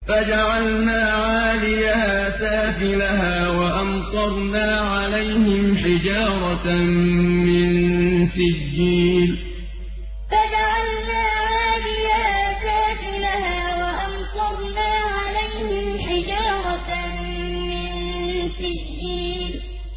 فَجَعَلْنَا عَالِيَهَا سَافِلَهَا وَأَمْطَرْنَا عَلَيْهِمْ حِجَارَةً مِّن سِجِّيلٍ فَجَعَلْنَا عَالِيَهَا سَافِلَهَا وَأَمْطَرْنَا عَلَيْهِمْ حِجَارَةً مِّن سِجِّيلٍ